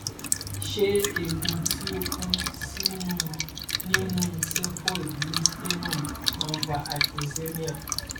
ṣé eegun ti o kan sinu ninú xephoid ni sternum ma n fa hypoxemia